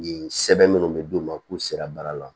Nin sɛbɛn minnu bɛ d'u ma k'u sera baara la